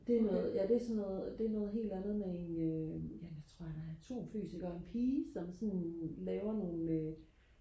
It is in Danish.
det er noget ja det er sådan noget det er noget helt andet med en øh ja jeg tror han er det er atomfysiker og en pige som sådan laver nogen øh